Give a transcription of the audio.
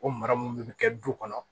O mara mun de bɛ kɛ du kɔnɔ